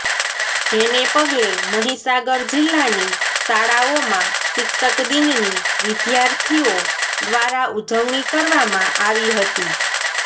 જેને પગલે મહીસાગર જિલ્લાની શાળાઓમાં શિક્ષક દિનની વિદ્યાર્થીઓ દ્વારા ઉજવણી કરવામાં આવી હતી